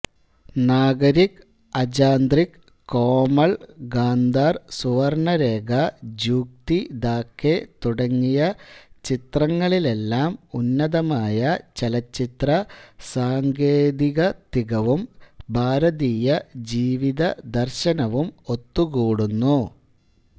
നാഗരിക് അജാന്ത്രിക് കോമൾ ഗാന്ധാർ സുവർണരേഖ ജൂക്തി ഥാക്കേ തുടങ്ങിയ ചിത്രങ്ങളിലെല്ലാം ഉന്നതമായ ചലച്ചിത്ര സാങ്കേതികത്തികവും ഭാരതീയ ജീവിതദർശനവും ഒത്തുകൂടുന്നു